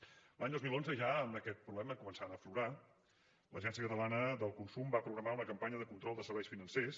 l’any dos mil onze ja amb aquest problema començant a aflorar l’agència catalana del consum va programar una campanya de control de serveis financers